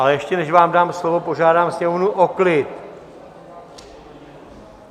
A ještě než vám dám slovo, požádám Sněmovnu o klid.